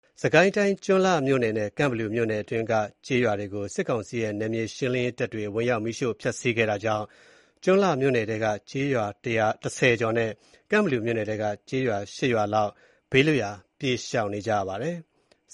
စစ်ကိုင်းတိုင်း ကျွန်းလှမြို့နယ်နဲ့ ကန့်ဘလူမြို့နယ်အတွင်းက ကျေးရွာတွေကို စစ်ကောင်စီရဲ့ နယ်မြေရှင်းလင်းရေးတပ်တွေ ဝင်ရောက် မီးရှို့ ဖျက်စီးခဲ့တာကြောင့် ကျွန်းလှမြို့နယ်ထဲက ကျေးရွာ ၁၀ ကျော်နဲ့ ကန့်ဘလူမြို့နယ်ထဲက ကျေးရွာ ၈ ရွာလောက် ဘေးလွတ်ရာ ပြေးရှောင်နေကြရပါတယ်။